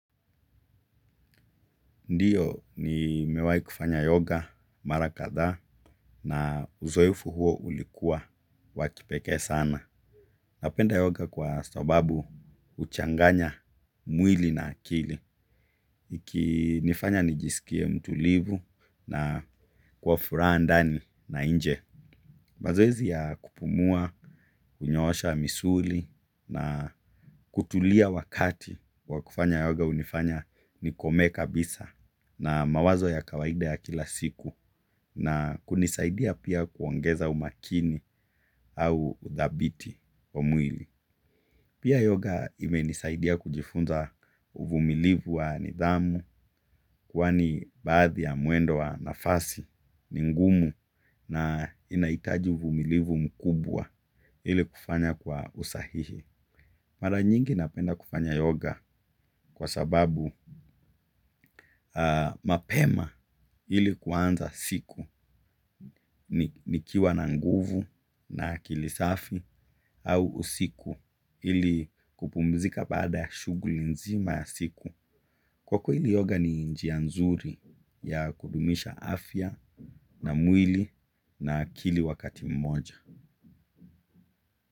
Ndiyo nimewai kufanya yoga marakadha na uzoefu huo ulikuwa wakipeke sana. Napenda yoga kwa sababu uchanganya mwili na akili. Iki nifanya nijisikie mtulivu na kwa furaha ndani na inje. Mazoezi ya kupumua, kunyosha, misuli na kutulia wakati wakufanya yoga unifanya nikome kabisa. Na mawazo ya kawaida ya kila siku na kunisaidia pia kuongeza umakini au udhabiti wa mwili. Pia yoga ime nisaidia kujifunza uvumilivu wa nidhamu kwani baadhi ya muendo wa nafasi ningumu na inaitaji uvumilivu mkubwa ili kufanya kwa usahihi. Mara nyingi napenda kufanya yoga kwa sababu mapema ili kuanza siku nikiwa na nguvu na kilisafi au usiku ili kupumzika baada ya shuguli nzima ya siku. Kwa kweli yoga ni njia nzuri ya kudumisha afya na mwili na akili wakati mmoja.